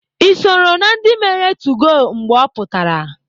Ị soro na ndị mere 2go mgbe ọ pụtara?